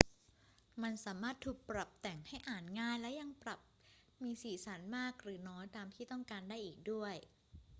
มันสามารถถูกปรับแต่งให้อ่านง่ายและยังปรับมีสีสันมากหรือน้อยตามที่ต้องการได้อีกด้วย